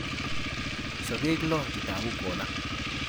Sokeek lo chetooku collar